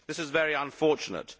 This is very unfortunate.